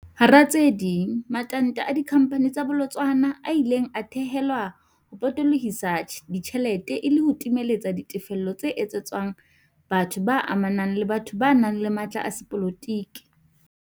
Hara tse ding, matanta a dikhamphani tsa bolotsana a ile a thehelwa ho potolo hisa ditjhelete e le ho timeletsa ditefello tse etsetswang batho ba amanang le batho ba nang le matla a sepolotiki.